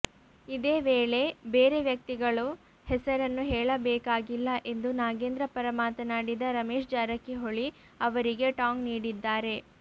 ಇದೇ ವೇಳೆ ಬೇರೆ ವ್ಯಕ್ತಿಗಳು ಹೆಸರನ್ನು ಹೇಳಬೇಕಾಗಿಲ್ಲ ಎಂದು ನಾಗೇಂದ್ರ ಪರ ಮಾತನಾಡಿದ ರಮೇಶ್ ಜಾರಕಿಹೊಳಿ ಅವರಿಗೆ ಟಾಂಗ್ ನೀಡಿದ್ದಾರೆ